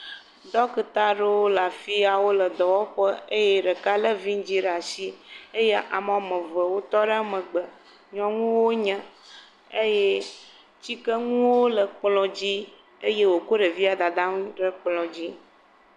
Ɖɔkita aɖewo le afi ya, wole dɔwɔƒe eye ɖeka lé vidzɛ̃ ɖe ashi eye ame woame ve wotɔ ɖe megbe. Nyɔnuwo wonye eye tsikenuwo le kplɔ̃dzi. Eye wòkɔ ɖevia Dadaa ŋu ɖe kplɔ̃dzi.